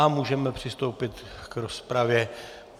A můžeme přistoupit k rozpravě.